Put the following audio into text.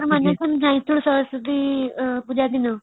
ତୋର ମନେ ଯାଇଥିଲୁ ସରସ୍ୱତୀ ପୂଜା ଦିନ